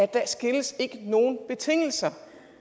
der stilles ikke nogen betingelser